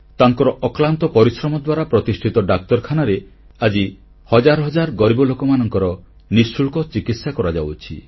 ତାଙ୍କର ଅକ୍ଲାନ୍ତ ପରିଶ୍ରମ ଦ୍ୱାରା ପ୍ରତିଷ୍ଠିତ ଡାକ୍ତରଖାନାରେ ଆଜି ହଜାରହଜାର ଗରିବ ଲୋକଙ୍କ ନିଃଶୁଳ୍କ ଚିକିତ୍ସା କରାଯାଉଛି